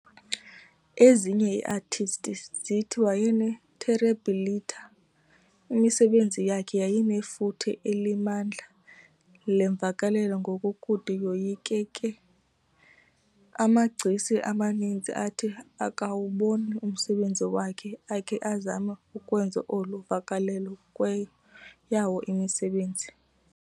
Ezinye iiartists zithi wayene"terribilità", imisebenzi yakhe yayinefuthe elimandla lemvakalelo ngokokude yoyikeke. Amagcisa amaninzi athi akuwubona umsebenzi wakhe akhe azama ukwenza olu vakalelo kweyawo imisebenzi.